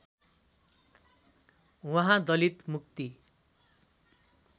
उहाँ दलित मुक्ति